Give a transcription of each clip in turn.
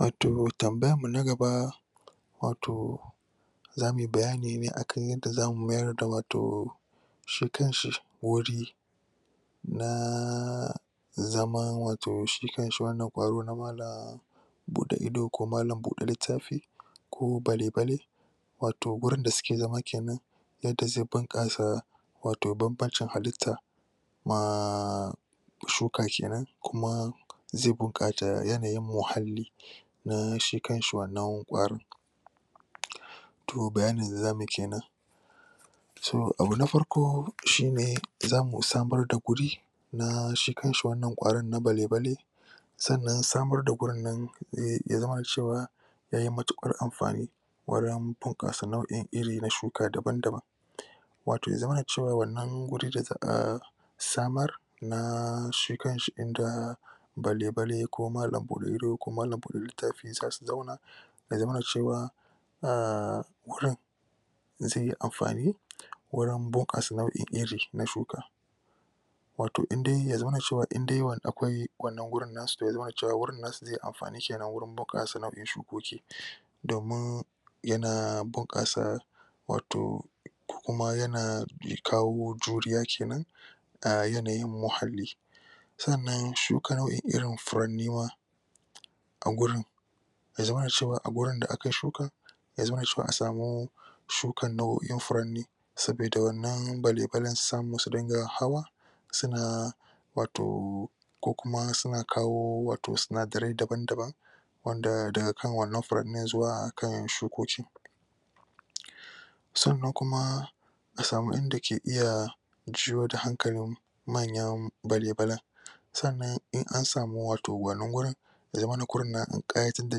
Wato tambayan mu na gaba wato zamuyi bayani ne akan yanda zamu mayar da wato shi kanshi bori naaaaa… zaman wato shi kanshi wannan kwaro buɗe ido ko malan buɗe littafi ko bale-bale wato gurin da suke zama kenan yadda zai bunƙasa wato banbancin halitta maaaa… shuka kenan kuma zai buƙata yanayin muhalli na shi kanshi wannan kwarin ro, bayanin da zamuyi kenan. So, abu na farko shi ne zamu samar da guri na shi kanshi wannan kwarin na bale-bale sannan samar da gurin nan ehh… ya zamana cewa yayi matuƙar amfani wurin bunƙasa nau’in iri na shuka daban-daban wato ya zamana cewa wannan guri samar… naaa… shi kanshi inda bale-bale ko malan buɗe ido ko malan buɗe littafi yasa su zauna ya zamana cewa ahh… gurin zai yi amfani gurin bunƙasa nau’in iri na shuka wato indai ya zaman cewa indai akwai wannan gurin nasu, ya zamana gurin nasu zai yi amfani gurin bunƙasa shuka domin yana bunƙasa wato kuma yana kawo juriya kenan a yanayin muhalli sannan shuka nau’in irin furenni ma a gurin ya zaman cewa a wajen da aka shuka ya zamana cewa akwai shukan nau’o’in furanni sabida waɗannan bale-balen su samu su dinga hawa suna wato ko kuma suna kawo sinadarai daban-daban ma wanda daga kan wannan furannin zuwa kan shukoki sannan kuma a sama inda ke iya shuyo da hankalin manyan bale-balen. Sannan in an samar da wannan wato gurin ya zamana wurin na kayatar da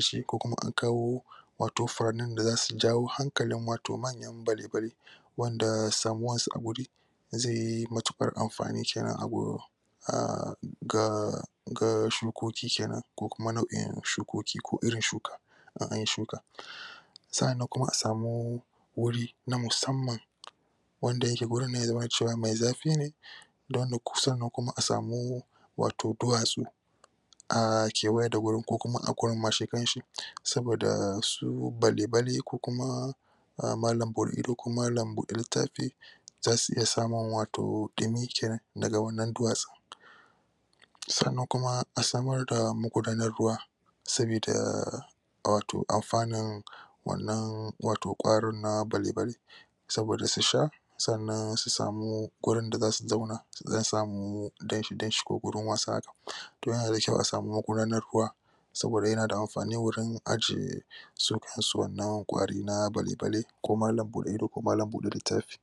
shi ko kuma an kawo wato furannin da zasu jawo wato hankalin wato manyan bale-bale wanda samuwar su a guri zai yi matuƙar amfani kenan a wajen ahhh ga ga shukoki kenan ko kuma nau’in shukoki kenan ko irin shukar ana yin shuka sannan kuma a sama wuri na musamman wanda yake gurin zai zamana mai zafi ne da wannan… sannan kuma a sama wato duwatsu ah kewaye da gurin ko kuma a wurin ma shi kanshi saboda su bale-bale ko kuma malan buɗe ido ko malan buɗe littafi zasu iya samun ɗumi kenan daga wannan duwatsu sannan kuma a samar da magudanar ruwa sabida wato amfanin wannan wato kwaron na bale-bale saboda su sha sannan guri dazu su zauna zasu samu danshi-danshi ko gurin wasa. To yana da kyau a samar da magudanar ruwa saboda yana da amfani wurin ajiye su kansu wannan kwari na bale-bale ko malan buɗe ido ko malan buɗe littafi.